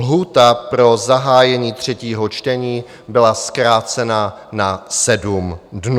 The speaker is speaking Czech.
Lhůta pro zahájení třetího čtení byla zkrácena na sedm dnů.